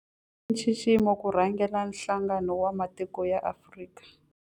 I nxiximo ku rhangela Nhlangano wa Matiko ya Afrika.